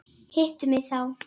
Hittu mig þá.